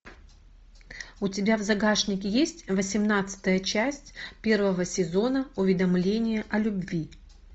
у тебя в загашнике есть восемнадцатая часть первого сезона уведомление о любви